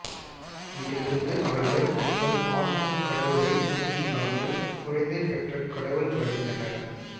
இதிலிருந்து அவர்கள் தங்கள் ஆட்டும் கடவுளை துணை இல்லாமல் குழந்தை பெற்ற கடவுள் வரைந்தனர்